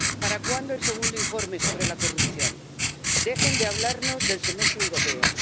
¿Para cuándo el segundo informe sobre la corrupción? Dejen de hablarnos del Semestre Europeo.